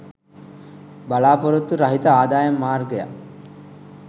බලා‍පොරොත්තු රහිත ආදායම් මාර්ගයක්